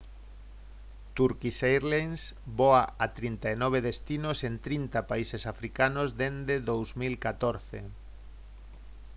turkish airlines voa a 39 destinos en 30 países africanos desde 2014